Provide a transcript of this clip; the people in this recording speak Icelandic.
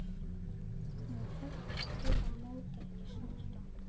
Hann var hættur og mátti ekki snerta.